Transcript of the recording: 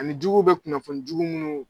Ani juguw bɛ kunnafoni jugu munnu